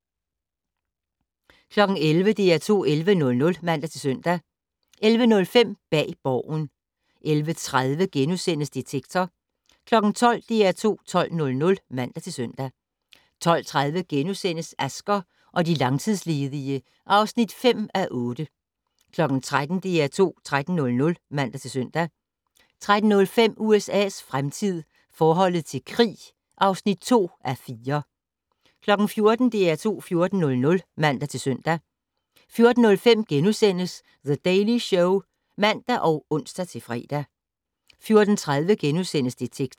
11:00: DR2 11:00 (man-søn) 11:05: Bag Borgen 11:30: Detektor * 12:00: DR2 12:00 (man-søn) 12:30: Asger og de langtidsledige (5:8)* 13:00: DR2 13:00 (man-søn) 13:05: USA's fremtid - forholdet til krig (2:4) 14:00: DR2 14:00 (man-søn) 14:05: The Daily Show *(man og ons-fre) 14:30: Detektor *